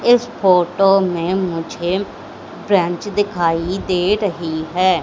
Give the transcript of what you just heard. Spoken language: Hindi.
इस फोटो में मुझे ब्रेंच दिखाई दे रही हैं।